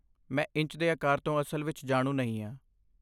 ਮੈਂ ਇੰਚ ਦੇ ਆਕਾਰਾਂ ਤੋਂ ਅਸਲ ਵਿੱਚ ਜਾਣੂ ਨਹੀਂ ਹਾਂ।